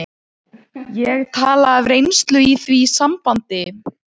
Hugó, hvað heitir þú fullu nafni?